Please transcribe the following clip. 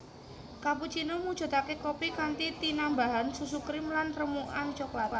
Cappuccino mujudake kopi kanthi tinambahan susu krim lan remukan cokelat